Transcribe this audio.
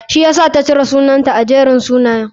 Shi yasaka ta cire sunansa a Jerin sunayen.